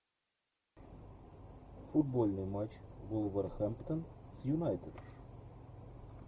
футбольный матч вулверхэмптон с юнайтед